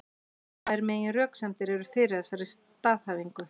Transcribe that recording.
Tvær meginröksemdir eru fyrir þessari staðhæfingu.